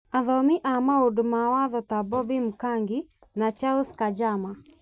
Athomi a maũndũ ma watho ta Bobby Mkangi, na Charles Kanjama,